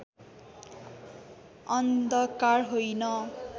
अन्धकार होइन